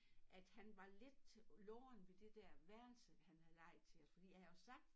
At han var lidt til loren ved det dér værelse han havde lejet til os fordi jeg havde sagt